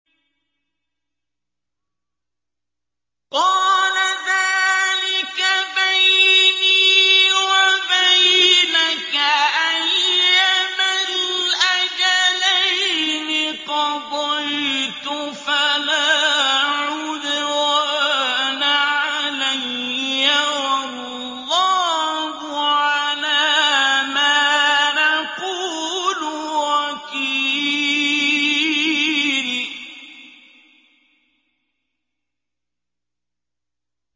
قَالَ ذَٰلِكَ بَيْنِي وَبَيْنَكَ ۖ أَيَّمَا الْأَجَلَيْنِ قَضَيْتُ فَلَا عُدْوَانَ عَلَيَّ ۖ وَاللَّهُ عَلَىٰ مَا نَقُولُ وَكِيلٌ